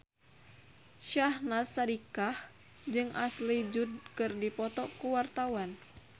Syahnaz Sadiqah jeung Ashley Judd keur dipoto ku wartawan